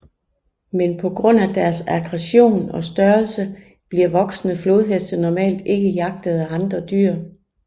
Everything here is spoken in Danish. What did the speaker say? Men på grund af deres aggression og størrelse bliver voksne flodheste normalt ikke jagtet af andre dyr